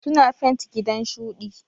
Suna fent ginan shuɗi.